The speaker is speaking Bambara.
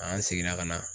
An seginna ka na